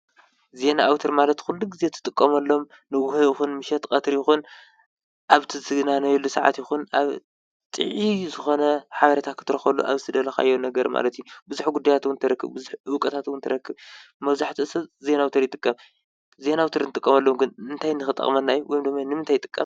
ዜና ኣውታር ማለት ኩሉ ጊዜ ትጥቀመሎም ንጎሆ ይኹን ምሸት ቀትሪ ይኹን ኣብ ትዝናነየሉ ሰዓት ይኹን ጥዑይ ዝኾነ ሓበሬታ ክትረኽበሉ ኣብ ዝደለኻ ማለት እዩ፡፡ ብዙሕ ጉዳያት ውን ትረክብ፡፡ ብዙሕ እውቀታት እውን ትረክብ፡፡ መብዛሕትኡ ሰብ ዜና ኣውታር ይጥቀም፡፡ ዜና ኣውታር ዝጥቀመሎም ግን እንታይ ንኽጠቅመና እዩ፡፡ ወይ ድማ ንምንታይ ይጠቅም?